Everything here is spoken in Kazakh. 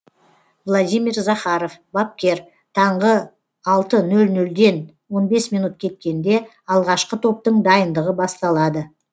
владимир захаров бапкер таңғы алты нөл нөлден он бес минут кеткенде алғашқы топтың дайындығы басталады